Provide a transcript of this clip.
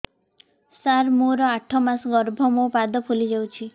ସାର ମୋର ଆଠ ମାସ ଗର୍ଭ ମୋ ପାଦ ଫୁଲିଯାଉଛି